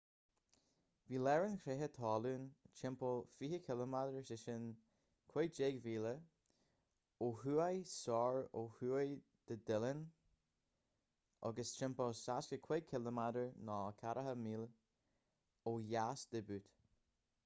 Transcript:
bhí lár an chreatha talún timpeall 20 km 15 mhíle ó thuaidh soir ó thuaidh de dillon agus timpeall 65 km 40 míle ó dheas de butte